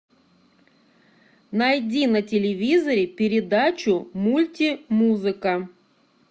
найди на телевизоре передачу мульти музыка